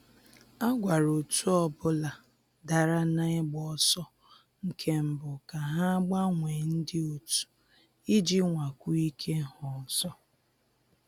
A gwara otu ọbụla dara na ịgba ọsọ nke mbụ ka ha gbanwee ndị otu iji nwakwuo ike ha ọzọ